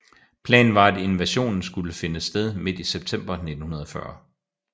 Planen var at invasionen skulle finde sted midt i september 1940